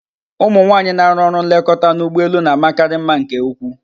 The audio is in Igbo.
Ụmụ nwanyị na-arụ ọrụ nlekọta n'ụgbọelu na-amakarị mma nke ukwu.